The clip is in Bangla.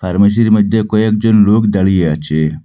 ফার্মেসির মধ্যে কয়েকজন লোক দাঁড়িয়ে আছে।